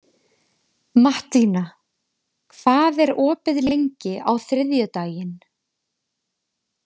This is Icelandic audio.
Mattína, hvað er opið lengi á þriðjudaginn?